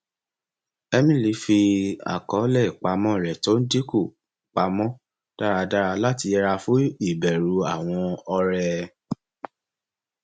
emily fi àkọọlẹ ìpamọ rẹ tó ń dínkù pa mọ dáradára láti yẹra fún ìbẹrù àwọn ọrẹ